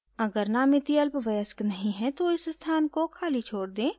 अगर नामिती अल्पवयस्क नहीं है तो इस स्थान को खाली छोड़ दें